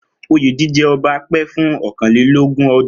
Oyè jíjẹ ti ọba pẹ́ fún ókanlelogun ọjọ́